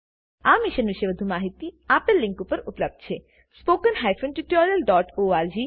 આ મિશન પર વધુ માહીતી આપેલ લીંક પર ઉપલબ્ધ છે httpspoken tutorialorgNMEICT Intro